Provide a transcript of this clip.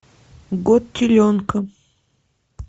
год теленка